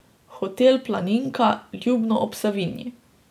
Hotel Planinka, Ljubno ob Savinji.